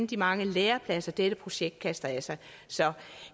de mange lærepladser dette projekt kaster af sig så